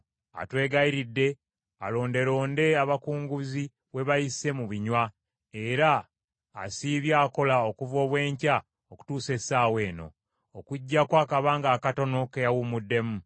Atwegayiridde alondelonde abakunguzi we bayise mu binywa, era asiibye akola okuva obw’enkya okutuusa essaawa eno, okuggyako akabanga akatono ke yawumuddemu.”